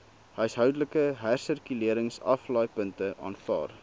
huishoudelike hersirkuleringsaflaaipunte aanvaar